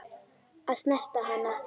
Að snerta hana.